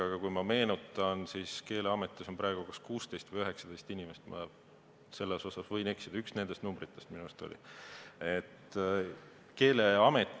Aga kui ma meenutan, siis Keeleametis on praegu kas 16 või 19 inimest – ma võin eksida, aga teine nendest numbritest minu arust oli.